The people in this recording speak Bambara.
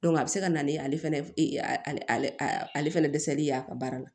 a bɛ se ka na ni ale fɛnɛ ale ale ale fɛnɛ dɛsɛli y'a ka baara la